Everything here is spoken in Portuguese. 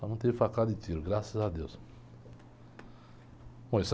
Mas não teve facada de tiro, graças a Deus. Bom isso...